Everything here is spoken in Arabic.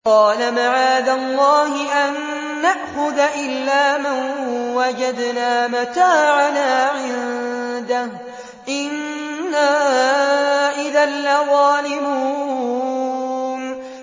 قَالَ مَعَاذَ اللَّهِ أَن نَّأْخُذَ إِلَّا مَن وَجَدْنَا مَتَاعَنَا عِندَهُ إِنَّا إِذًا لَّظَالِمُونَ